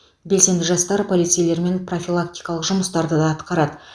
белсенді жастар полицейлермен профилактикалық жұмыстарды да атқарады